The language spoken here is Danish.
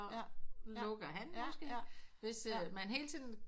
Lukker han måske hvis man hele tiden